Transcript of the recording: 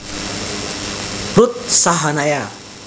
Ruth Sahanaya